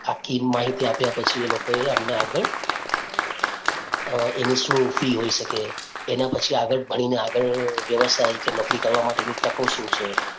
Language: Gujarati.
આખી માહિતી આપ્યા પછી એ લોકો એ અમને આગળ અ એની શું ફી હોય શકે, એના પછી આગળ ભણી ને આગળ વ્યવસાય કે નોકરી કરવા માટેની તકો શું છે.